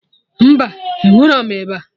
Mba, enwerọm ịba